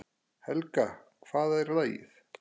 Helga, um hvað er lagið?